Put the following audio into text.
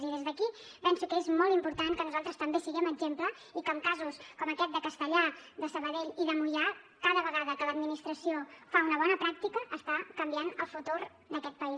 i des d’aquí penso que és molt important que nosaltres també siguem exemple i que en casos com aquest de castellar de sabadell i de moià cada vegada que l’administració fa una bona pràctica està canviant el futur d’aquest país